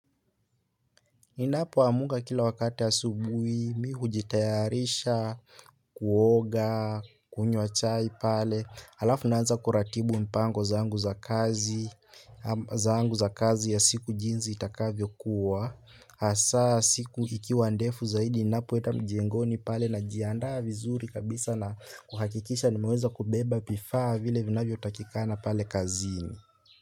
Ninapoamka kila wakati asubuhi, mi hujitayarisha, kuoga, kunywa chai pale, halafu naanza kuratibu mipango zangu za kazi, zangu za kazi ya siku jinsi itakavyokuwa, hasa siku ikiwa ndefu zaidi, ninapoenda mjengoni pale najiandaa vizuri kabisa na kuhakikisha nimeweza kubeba vifaa vile vinavyotakikana pale kazini.